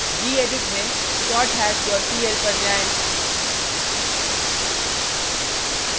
gedit में sorthash dot pl पर जाएँ